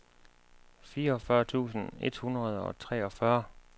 fireogfyrre tusind et hundrede og treogfyrre